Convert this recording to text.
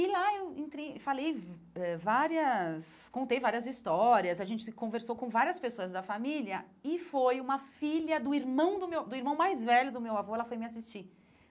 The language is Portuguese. E lá eu entrei falei eh várias contei várias histórias, a gente conversou com várias pessoas da família e foi uma filha do irmão do meu do irmão mais velho do meu avô, ela foi me assistir.